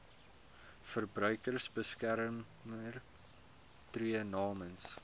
verbruikersbeskermer tree namens